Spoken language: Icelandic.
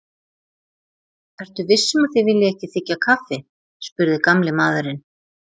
Ertu viss um að þið viljið ekki þiggja kaffi? spurði gamli maðurinn.